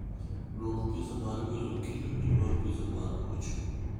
luong pizza mar welo kendo ior pizza mar ochu